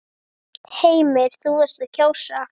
Heimir: Þú varst að kjósa?